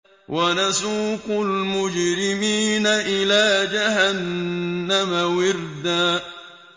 وَنَسُوقُ الْمُجْرِمِينَ إِلَىٰ جَهَنَّمَ وِرْدًا